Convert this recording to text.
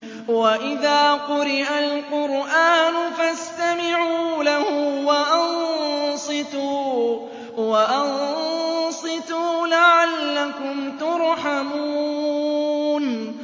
وَإِذَا قُرِئَ الْقُرْآنُ فَاسْتَمِعُوا لَهُ وَأَنصِتُوا لَعَلَّكُمْ تُرْحَمُونَ